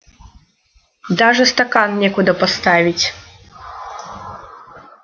даже стакан некуда поставить